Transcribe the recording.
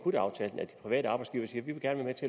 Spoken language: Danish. private arbejdsgivere siger